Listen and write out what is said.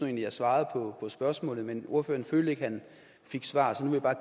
jeg svarede på spørgsmålet men ordføreren følte ikke at han fik svar